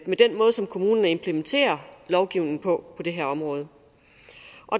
med den måde som kommunerne implementerer lovgivningen på på det her område